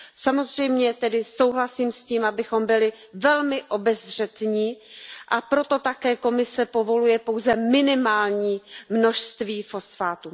Samozřejmě tedy souhlasím s tím, abychom byli velmi obezřetní, a proto také Komise povoluje pouze minimální množství fosfátu.